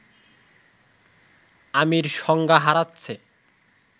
আমির সংজ্ঞা হারাচ্ছে